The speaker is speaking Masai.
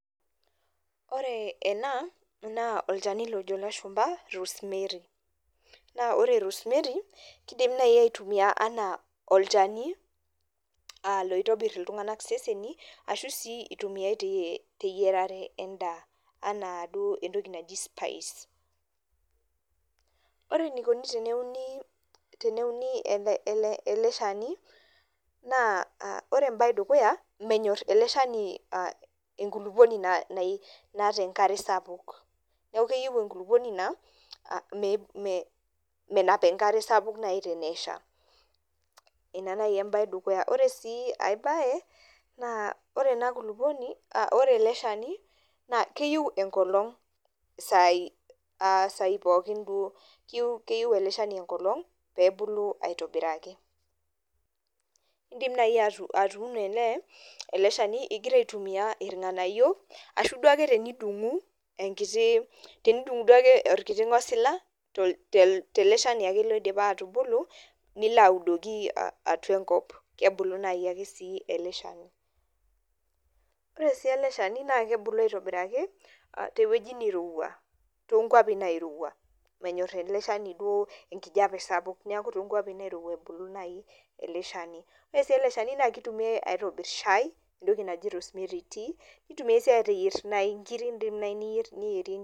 Ore ena naa olchani lojo ilashumpa rosemary naa ore rosemary kidimi naaji aitumia anaa olchani uh loitobirr iltunhg'anak iseseni ashu sii itumiae ti teyiarare endaa anaa duo entoki naji spice ore enikoni teneuni teneuni ele ele shani naa uh ore embaye edukuya menyorr ele shani uh enkulupuoni nai naata enkare sapuk neeku keyieu enkulupuoni naa uh me mee menap enkare sapuk nai tenesha ina naai embaye edukuya ore sii ae baye naa ore ena kulupuoni uh ore ele shani naa keyieu enkolong isai isai pookin duo keyieu ele shani enkolong peebulu aitobiraki, Indim naaji atuuno ele ele shani igira aitumia ilng'anayio ashu duake tenidung'u enkiti tenidiung'u duake enkiti tenidung'u duake orkiti ng'osila tol tele shani duake loidipipa atubulu nilo audoki uh atua enkop kebulu naai ake sii ele shani ore sii ele shani naa kebulu aitobiraki tewueji nirowua tonkuapi nairowua menyorr ele shani duo enkijape sapuk niaku tonkuapi nairowua ebulu naai ele shani ore sii ele shani naa kitumiae aitobirr shai entoki naji rosemary tea nitumiae sii ateyierr naaji inkiri indim naaji niyierr niyierie.